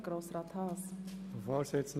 Ich fasse mich kurz.